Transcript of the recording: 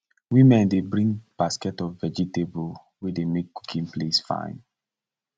women dey bring basket of vegetable wey dey make cooking place fine